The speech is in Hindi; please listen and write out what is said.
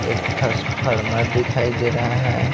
एक थास्पर्मा दिखाई दे रहा है।